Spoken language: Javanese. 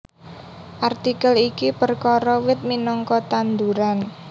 Artikel iki perkara wit minangka tanduran